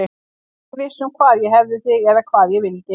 Ég var ekkert viss um hvar ég hefði þig eða hvað ég vildi.